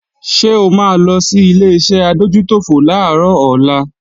Ṣé o máa lo sí Ileṣẹ́ adójútòfò làárọ̀ ọ̀la?